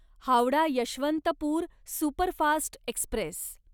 Howrah Yesvantpur superfast Express